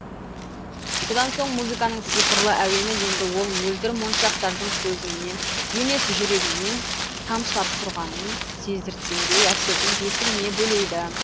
содан соң музыканың сиқырлы әуені енді ол мөлдір моншақтардың көзіңнен емес жүрегіңнен тамшылап тұрғанын сездірткендей әсердің бесігіне бөлейді